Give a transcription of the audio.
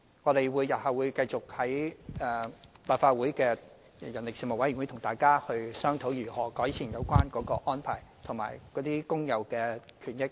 我們日後會繼續在立法會相關事務委員會，跟大家商討如何改善有關安排及工友的權益。